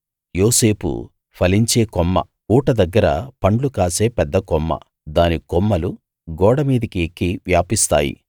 యోసేపు ఫలించే కొమ్మ ఊట దగ్గర పండ్లు కాసే పెద్ద కొమ్మ దాని కొమ్మలు గోడ మీదికి ఎక్కి వ్యాపిస్తాయి